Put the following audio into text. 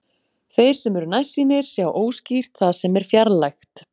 Þeir sem eru nærsýnir sjá óskýrt það sem er fjarlægt.